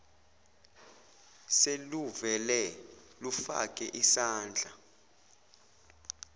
seluvele lufake isandla